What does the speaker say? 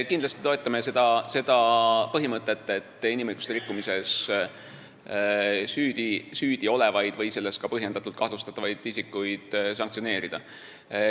Kindlasti me toetame seda põhimõtet, et inimõiguste rikkumises süüdi olevaid või selles ka põhjendatult kahtlustatavaid isikuid sanktsioneerida.